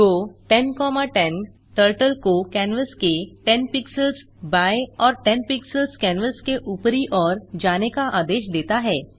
गो 1010 turtle को canvas के 10 pixels बाएँ और 10 पिक्सेल्स कैनवास के ऊपरी ओर जाने का आदेश देता है